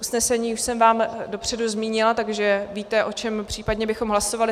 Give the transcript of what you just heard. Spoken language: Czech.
Usnesení už jsem vám dopředu zmínila, takže víte, o čem případně bychom hlasovali.